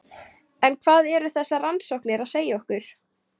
En hvað eru þessar rannsóknir að segja okkur?